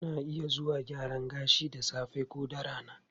Ana iya zuwa gyaran gashi da safe ko da rana.